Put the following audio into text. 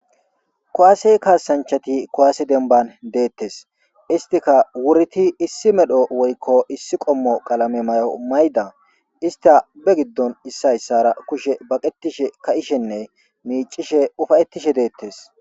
kuwaasey kaasanchati kowaasi denban deettes istika wurti issi medho woykko issi qommo qalame may7o mayda ista be giddon issayssara kushe baqetishe ka7ishenne miicishe ufayettishe deettes